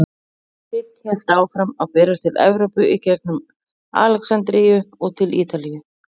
Krydd hélt einnig áfram að berast til Evrópu í gengum Alexandríu og til Ítalíu.